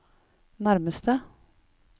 nærmeste